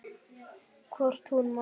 Hvort hún man!